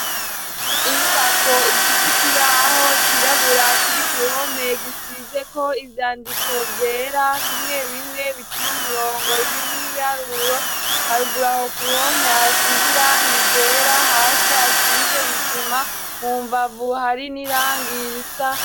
Inyubako ifis'ikibaho cirabura kiri k'uruhome gisizeko ivyandiko vyera bimwe bimwe biciye umurongo ibindi nk'ibiharuro, harugu k'uruhome hasiz' irangi ryera ,hasi hasize isima, mu mbavu hari n'irangi risa.